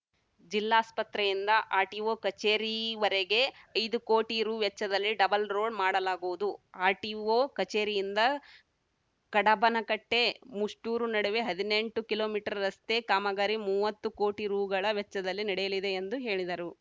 ಜಿಲ್ಲಾಸ್ಪತ್ರೆಯಿಂದ RTO ಕಚೇರಿವರೆಗೆ ಐದು ಕೋಟಿ ರುವೆಚ್ಚದಲ್ಲಿ ಡಬಲ್‌ ರೋಡ್‌ ಮಾಡಲಾಗುವುದು ಆರ್‌ಟಿಒ ಕಚೇರಿಯಿಂದ ಕಡಬನಕಟ್ಟೆ ಮುಸ್ಟೂರು ನಡುವೆ ಹದಿನೆಂಟು ಕಿಲೊ ಮೀಟರ್ ರಸ್ತೆ ಕಾಮಗಾರಿ ಮೂವತ್ತು ಕೋಟಿ ರುಗಳ ವೆಚ್ಚದಲ್ಲಿ ನಡೆಯಲಿದೆ ಎಂದು ಹೇಳಿದರು